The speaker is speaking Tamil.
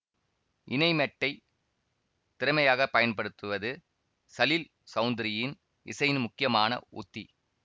இணைமெட்டைத் திறமையாக பயன்படுத்துவது சலீல் சௌதுரியின் இசையின் முக்கியமான உத்தி